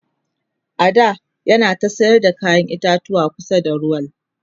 a da yana ta sayar da kayan itatuwa kusa da rawul